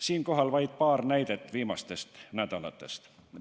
Siinkohal vaid paar näidet viimastest nädalatest.